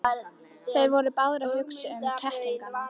Þeir voru báðir að hugsa um kettlingana.